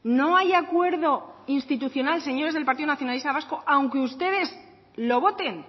no hay acuerdo institucional señores del partido nacionalista vasco aunque ustedes lo voten